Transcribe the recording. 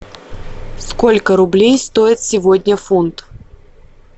сколько рублей стоит сегодня фунт